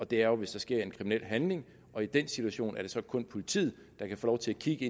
det er jo hvis der sker en kriminel handling og i den situation er det så kun politiet der kan få lov til at kigge